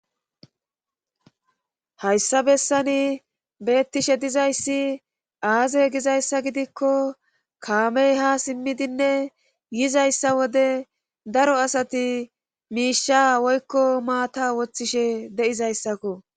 Hayssa bessani beettishe dizayssi aaze gizayssa gidikko kaamey ha simmidinne yizayssa wode daro asati miisha woykko maata woththishe de7izayssakko